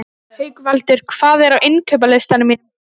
Haukvaldur, hvað er á innkaupalistanum mínum?